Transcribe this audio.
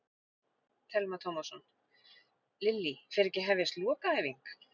Telma Tómasson: Lillý, fer ekki að hefjast lokaæfing?